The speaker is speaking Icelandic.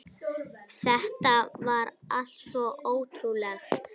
Þetta var allt svo ótrúlegt.